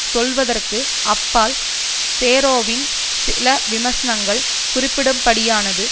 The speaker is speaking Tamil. சொல்வதற்கு அப்பால் சேரோவின் சில விமர்சனங்கள் குறிப்பிடும்படியானது